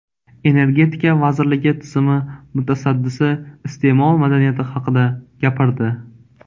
Energetika vazirligi tizimi mutasaddisi iste’mol madaniyati haqida gapirdi.